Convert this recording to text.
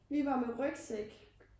Vi var med rygsæk